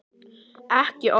Ekki opna